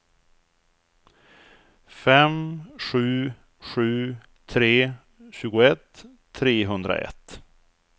fem sju sju tre tjugoett trehundraett